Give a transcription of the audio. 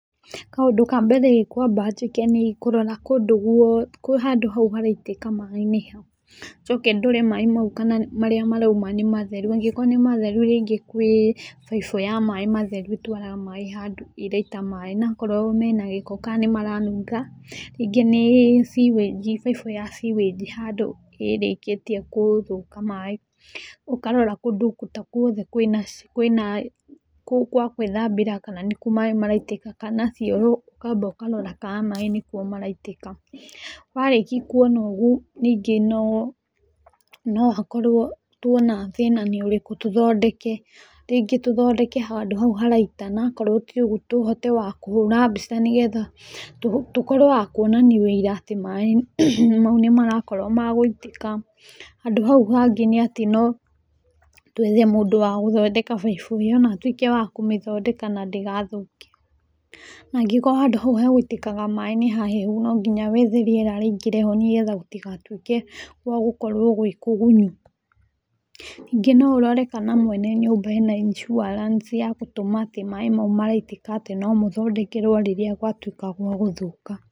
Kaũndũ ka mbere ngwamba njĩke nĩ ngũrora kũndũ guothe handũ hau haraitĩka maĩ nĩ ha, njoke ndore maĩ mau kana marĩa marauma nĩ matheru, angĩkorwo nĩ matheru rĩngĩ gwĩ baibũ ya maĩ matheru ĩtwaraga maĩ handũ ĩraita maĩ, na akorwo mena gĩko kana nĩ maranunga, rĩngĩ nĩ sewage baibũ ya sewage handũ ĩrĩkĩtie gũthũka maĩ, ũkarora kũndũ ta guothe gwa gwĩthambĩra kana nĩ kuo maĩ maraitĩka kana cioro ũkamba ũkarora kana nĩkuo maĩ maraitĩka, warĩkia kuona ũguo nyingĩ no hakorwo tuona thĩna nĩ ũrĩkũ tũthondeke, rĩngĩ tũthondeke handũ hau haraita na akorwo ti ũguo tũhote wa kũhũra mbica na tũkorwo wa kuonania ũira atĩ maĩ mau nĩ marakorwo ma gũitĩka. Handũ hau hangĩ nĩ atĩ no twethe mũndũ wa gũthondeka baibũ ĩyo na atuĩke wa kũmĩthondeka na ndĩgathũke na angĩkorwo handũ hau hagũitĩkaga maĩ nĩ hahehu no nginya wethe rĩera rĩingĩre ho nĩgetha gũtigatuĩke gwa gũkorwo gwĩ kũgunyu. Ningĩ no ũrore kana mwene nyũmba arĩ na insurance ya gũtũma atĩ maĩ mau maraitĩka atĩ no mũthondekerwo rĩrĩa gwatuĩka wa gũthũka.